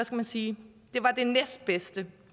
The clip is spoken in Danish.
man sige det næstbedste